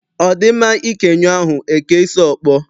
Ọ dị mma ike nyụọ ahụ, e kee isi ọkpọ?